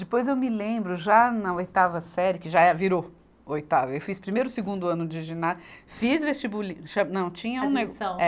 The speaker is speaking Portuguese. Depois eu me lembro, já na oitava série, que já é virou oitava, eu fiz primeiro e segundo ano de giná, fiz vestibuli, cha, Não, tinha um nego. Admissão. É.